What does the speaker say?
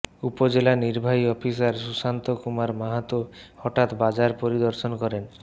উপজেলা নির্বাহী অফিসার সুশান্ত কুমার মাহাতো হঠাৎ বাজার পরিদর্শন করেন